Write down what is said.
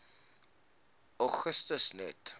augustus net